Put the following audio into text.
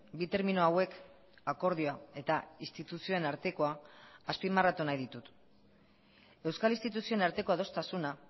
bi termino hauek akordioa eta instituzioen artekoa azpimarratu nahi ditut euskal instituzioen arteko adostasuna